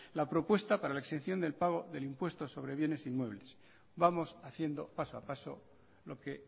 la propuesta para la exención del pago del impuesto de bienes e inmuebles vamos haciendo paso a paso lo que